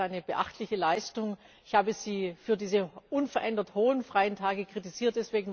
Ich halte das für eine beachtliche Leistung. Ich habe Sie für diese unverändert hohen freien Tage kritisiert.